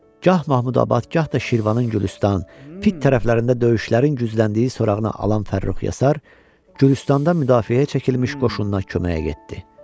Gah Mahmudabad, gah da Şirvanın Gülüstan fit tərəflərində döyüşlərin gücləndiyi sorağını alan Fərrux Yasar Gülüstanda müdafiəyə çəkilmiş qoşununa köməyə getdi.